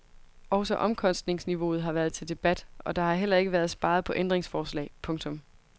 Også omkostningsniveauet har været til debat og der har heller ikke været sparet på ændringsforslag. punktum